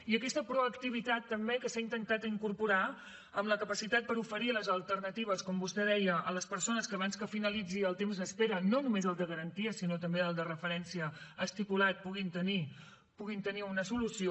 i aquesta proactivitat també que s’ha intentat incorporar en la capacitat per oferir les alternatives com vostè deia a les persones que abans que finalitzi el temps d’espera no només el de garantia sinó també el de referència estipulat puguin tenir una solució